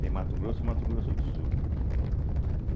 Tem Mato Grosso e Mato Grosso do Sul, né?